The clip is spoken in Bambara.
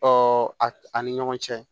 a ni ɲɔgɔn cɛ